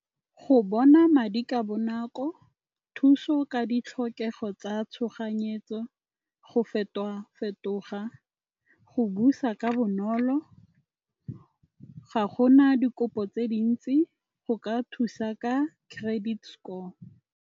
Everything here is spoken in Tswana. Go bona madi ka bonako, thuso ka ditlhokego tsa tshoganyetso, go fetoga-fetoga, go busa ka bonolo. Ga go na dikopo tse dintsi go ka thusa ka credit score.